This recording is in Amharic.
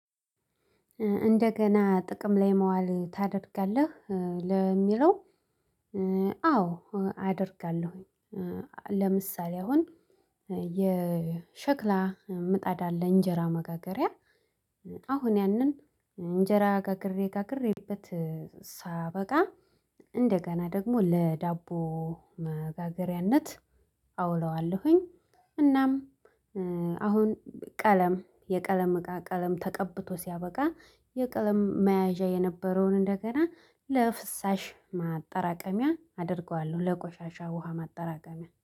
እንደገና ጥቅም ላይ መዋል ታደርጋለህ እ ለሚለው እ አዎ አደርጋለሁኝ እ ለምሳሌ አሁን እ የሸክላ ምጣድ አለ እንጀራ መጋገሪያ አሁን ያንን እንጀራ ጋግሬ ጋግሬበት እ ሳበቃ እንደገና ደግሞ ለዳቦ መጋገሪያነት አውለዋለሁኝ። እናም እ አሁን ቀለም የቀለም እቃ ቀለም ተቀብቶ ሲያበቃ የቀለም መያዣ የነበረውን እንደገና ለፍሳሽ ማጠራቀሚያ አደርገዋለሁ ለቆሻሻ ውሃ ማጠራቀሚያ